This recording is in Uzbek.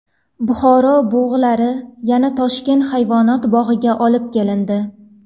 Buxoro bug‘ulari yana Toshkent hayvonot bog‘iga olib kelindi.